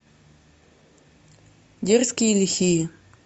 дерзкие и лихие